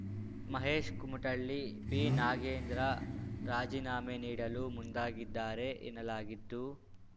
Mahesh Kumatalli B Nagendra ರಾಜೀನಾಮೆ ನೀಡಲು ಮುಂದಾಗಿದ್ದಾರೆ ಎನ್ನಲಾಗಿದ್ದು